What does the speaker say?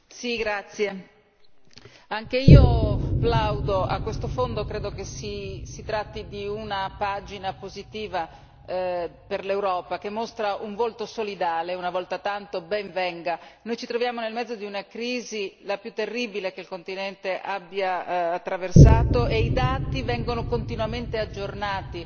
Signor Presidente, onorevole colleghi, anche io plaudo a questo fondo, credo che si tratti di una pagina positiva per l'Europa che mostra un volto solidale, una volta tanto ben venga! Noi ci troviamo nel mezzo di una crisi, la più terribile che il continente abbia attraversato, e i dati vengono continuamente aggiornati